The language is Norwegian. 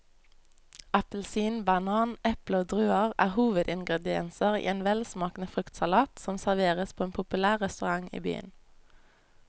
Appelsin, banan, eple og druer er hovedingredienser i en velsmakende fruktsalat som serveres på en populær restaurant i byen.